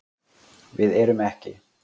Við erum ekki